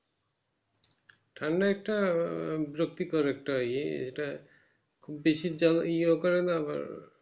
ঠান্ডায় একটা বিরক্তিকর একটা ই এটা খুব বেশি ইয়ে করেন আবার